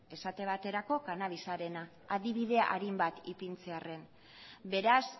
esaten baterako cannabisarena adibide arin bat ipintzearren beraz